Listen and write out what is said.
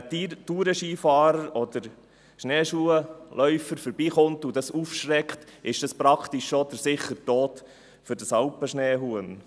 – Wenn ein Tourenskifahrer oder Schneeschuhläufer vorbeikommt und das Tier aufschreckt, bedeutet dies fast den sicheren Tod für ein Alpenschneehuhn.